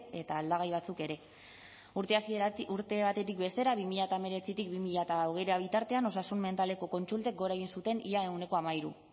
eta aldagai batzuk ere urte batetik bestera bi mila hemeretzitik bi mila hogeira bitartean osasun mentaleko kontsultek gora egin zuten ia ehuneko hamairu